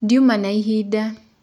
Ndĩũma na ĩhĩnda.